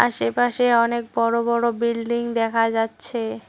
আশেপাশে অনেক বড় বড় বিল্ডিং দেখা যাচ্ছে।